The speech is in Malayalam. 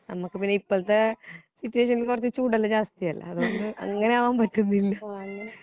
നമുക്ക് പിന്നെ ഇപ്പോഴത്തെ സിറ്റുവേഷനിൽ കുറച്ചു ചൂടെല്ലാം ജാസ്തിയല്ലേ അതുകൊണ്ടു അങ്ങനെ അവൻ പറ്റുന്നില്ല